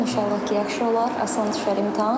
İnşallah ki, yaxşı olar, asan düşər imtahan.